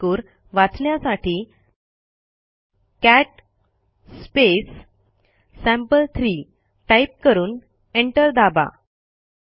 त्यातील मजकूर वाचण्यासाठी कॅट सॅम्पल3 टाईप करून एंटर दाबा